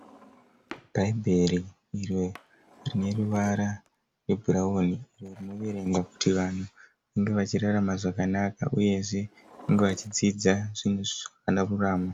Bhaibheri iro rine ruvara rwe brown rinoverengwa kuti vanhu kuti vange vachirarama zvakanaka uyezve vange vachidzidza zvavanofana kuramba.